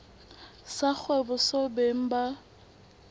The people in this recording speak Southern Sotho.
sa kgwebo seo beng ba